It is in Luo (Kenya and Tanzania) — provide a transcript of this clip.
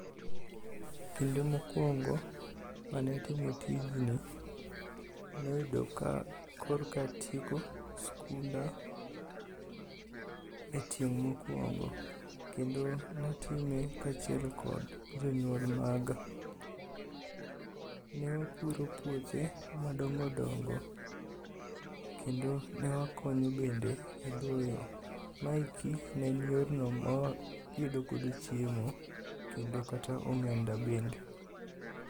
Kinde mokwongo mane atimo tijni noyudo ka korka atieko skunda e tieng' mokwongo, kendo natime kaachiel kod jonyuol maga. Ne wapuro puothe madongodongo kendo ne wakonyo bende e doyo. Maeki ne en yorno ma wayudogodo chiemo kendo kata omenda bende.